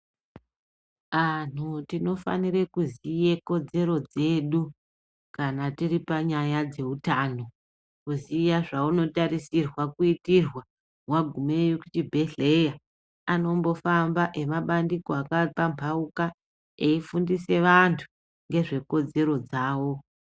Anhu tinofanire kuziye kodzero dzedu kana tiripanyaya dzeutano. Kuziya zvaunotarisirwa kuitirwa wagumeyo kuchibhedhleya. Anombofamba emabandiko yakapambauka eifundisa vantu ngezvekodzero dzavo.